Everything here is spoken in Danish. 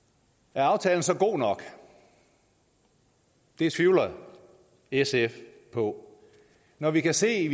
er aftalen så god nok det tvivler sf på når vi kan se